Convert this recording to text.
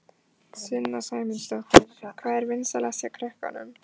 Sunna Sæmundsdóttir: Hvað er vinsælast hjá krökkunum?